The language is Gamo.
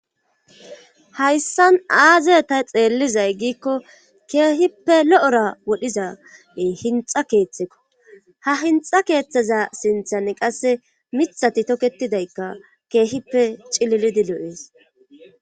hayssan aaze ta xeellizay giikko keehippe lo'ora wodhiza hinxa keeththekko ha hinxa keeththaza sinthan qase miiththati toketidaykka keehippe cililidi lo'ees